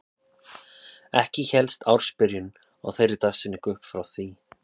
Ekki hélst ársbyrjun á þeirri dagsetningu upp frá því.